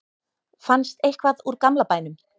fannst eitthvað úr gamla bænum